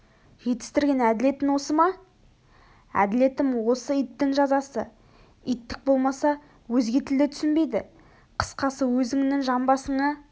жетістірген әделетің осы ма әделетім осы иттің жазасы иттік болмаса өзге тілді түсінбейді қысқасы өзіңнің жамбасыңа